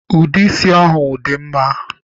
Ude isi ahụ dị mma